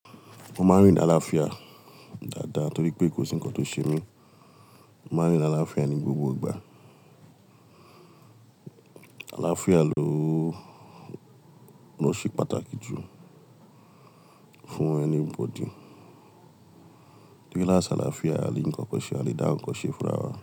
Mo máa ń rín ní àlàáfíà dáadáa torí pé kò sí ǹkan tó ṣe mí. Mo máa ń rin l'àlàáfíà ní gbogbo ìgbà. Àlàáfíà ló, ló ṣe pàtàkì jù fún anybody. Torí lái ṣi àlàáfíà, a lè ri ńkankan ṣe, a lè dá ǹkan ṣe fún ara wa.